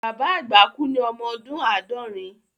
Bàbá àgbà kú ní ọmọ ọdún àádọ́rin